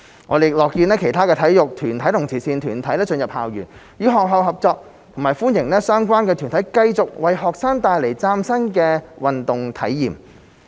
我們亦樂見其他體育團體及慈善團體進入校園，與學校合作，並歡迎相關團體繼續為學生帶來嶄新的運動體驗。